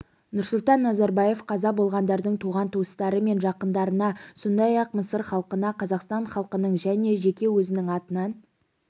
нұрсұлтан назарбаев қаза болғандардың туған-туыстары мен жақындарына сондай-ақ мысыр халқына қазақстан халқының және жеке өзінің атынан